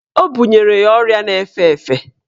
Ọ bunyere ya ọrịa na-efe efe.